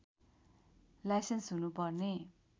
licence हुनु पर्ने